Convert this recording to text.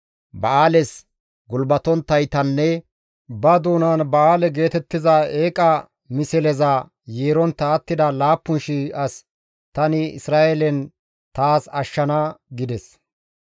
Ba7aales gulbatonttaytanne ba doonan Ba7aale geetettiza eeqa misleza yeerontta attida 7,000 as tani Isra7eelen taas ashshana» gides.